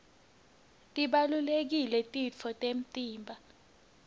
tibalulekile titfo temtimba